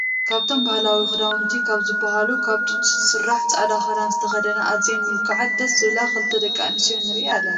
ካብቶም ባህላዊ ክዳዊንቲ ካብ ዝብሃሉ ካብ ጡጥ ዝስራሕ ፃዕዳ ክዳን ዝተከደና ኣዝየን ሙልክዓትን ደስ ዝብላ ክልተ ደቂ ኣንስትዮ ንርኢ ኣለና።